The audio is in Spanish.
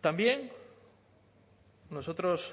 también nosotros